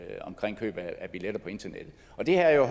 køb af billetter på internettet det her er jo